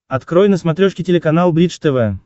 открой на смотрешке телеканал бридж тв